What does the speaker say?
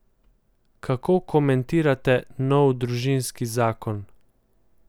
Kako komentirate nov družinski zakon?